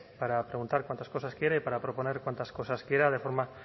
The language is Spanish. para preguntar cuantas cosas quiera y para proponer cuantas cosas quiera de forma